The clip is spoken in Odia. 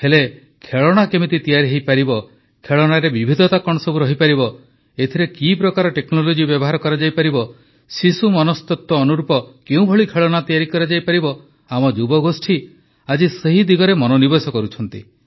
ହେଲେ ଖେଳଣା କେମିତି ତିଆରି ହୋଇପାରିବ ଖେଳଣାରେ ବିବିଧତା କଣ ସବୁ ରହିପାରିବ ଏଥିରେ କି ପ୍ରକାର ଟେକ୍ନୋଲୋଜି ବ୍ୟବହାର କରାଯାଇପାରିବ ଶିଶୁ ମନସ୍ତତ୍ୱ ଅନୁରୂପ କେଉଁଭଳି ଖେଳଣା ତିଆରି କରାଯାଇପାରିବ ଆମ ଯୁବଗୋଷ୍ଠୀ ଆଜି ସେ ଦିଗରେ ମନୋନିବେଶ କରୁଛନ୍ତି